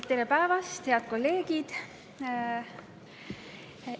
Tere päevast, head kolleegid!